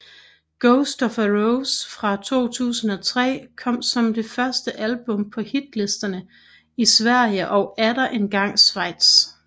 Ghost of a Rose fra 2003 kom som det første album på hitlisterne i Sverige og atter engang Schweiz